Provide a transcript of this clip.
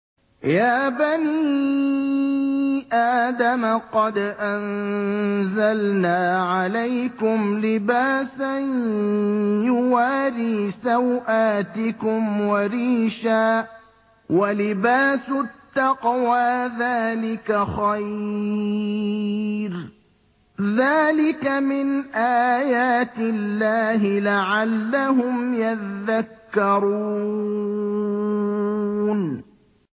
يَا بَنِي آدَمَ قَدْ أَنزَلْنَا عَلَيْكُمْ لِبَاسًا يُوَارِي سَوْآتِكُمْ وَرِيشًا ۖ وَلِبَاسُ التَّقْوَىٰ ذَٰلِكَ خَيْرٌ ۚ ذَٰلِكَ مِنْ آيَاتِ اللَّهِ لَعَلَّهُمْ يَذَّكَّرُونَ